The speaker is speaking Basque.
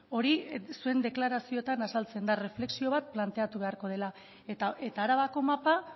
hori zuen deklarazioetan azaltzen da erreflexio bat planteatu beharko dela eta arabako mapa